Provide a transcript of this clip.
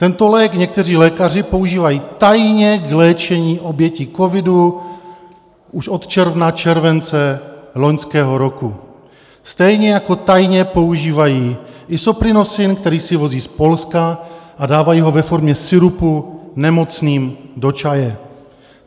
Tento lék někteří lékaři používají tajně k léčení obětí covidu už od června, července loňského roku, stejně jako tajně používají Isoprinosine, který si vozí z Polska a dávají ho ve formě sirupu nemocným do čaje.